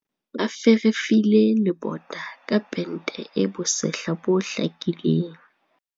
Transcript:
Ba ferefile lebota ka pente e bosehla bo hlakileng.